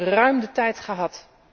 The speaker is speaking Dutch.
Ze hebben ruim de tijd gehad.